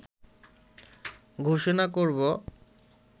ঘোষণা করব